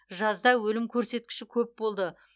жазда өлім көрсеткіші көп болды